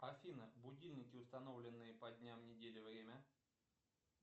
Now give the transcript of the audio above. афина будильники установленные по дням недели время